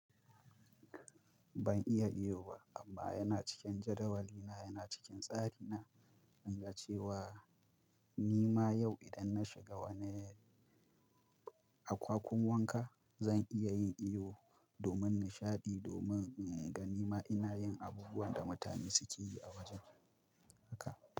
Ban iya iyo ba amma yana cikin jadawali na, yana cikin tsari na, in ga cewa nima yau idan na shiga wani akwakun wanka zan iya yin iyo domin nishaɗi, domin ga nima ina yin abubuwan da mutane suke yi a wajen haka.